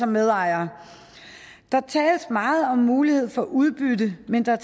medejere der tales meget om mulighed for udbytte men der